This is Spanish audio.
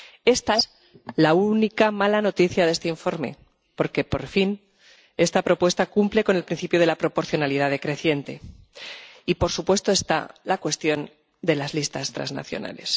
Esta es la única mala noticia de este informe porque, por fin, esta propuesta cumple con el principio de la proporcionalidad decreciente y, por supuesto, está la cuestión de las listas trasnacionales.